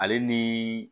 Ale ni